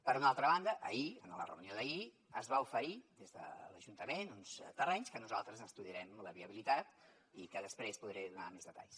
per una altra banda ahir en la reunió d’ahir es va oferir des de l’ajuntament uns terrenys de què nosaltres estudiarem la viabilitat i de què després podré donar més detalls